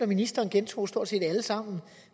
ministeren gentog stort set alle sammen